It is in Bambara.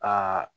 Aa